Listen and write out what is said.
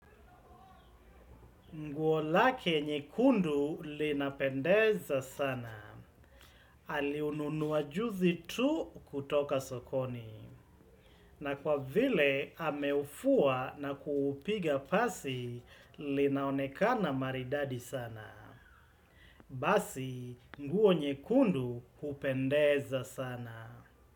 Nguo lake nyekundu linapendeza sana. Aliununua juzi tu kutoka sokoni. Na kwa vile ameufua na kuupiga pasi, linaonekana maridadi sana. Basi, nguo nyekundu hupendeza sana.